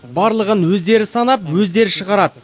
барлығын өздері санап өздері шығарады